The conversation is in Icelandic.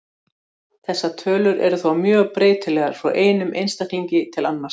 Þessar tölur eru þó mjög breytilegar frá einum einstaklingi til annars.